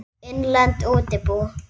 Innlend útibú.